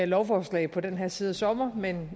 lovforslag på den her side af sommeren men